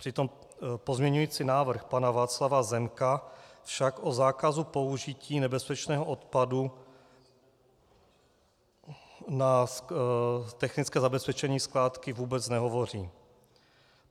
Přitom pozměňovací návrh pana Václava Zemka však o zákazu použití nebezpečného odpadu na technické zabezpečení skládky vůbec nehovoří.